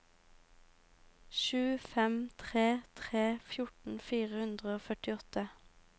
sju fem tre tre fjorten fire hundre og førtiåtte